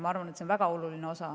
Ma arvan, et ta on väga oluline osa.